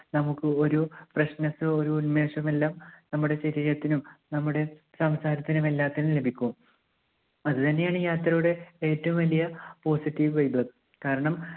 നമുക്ക് ഒരു freshness ഒരു ഉന്മേഷമെല്ലാം നമ്മുടെ ശരീരത്തിനും നമ്മുടെ സംസാരത്തിനും എല്ലാത്തിനും ലഭിക്കും. അതുതന്നെയാണ് ഈ യാത്രയുടെ ഏറ്റവും വലിയ positive vibe കാരണം